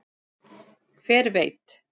Hver veit